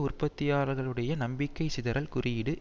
உற்பத்தியாளர்களுடைய நம்பிக்கை சிதறல் கூறியீடு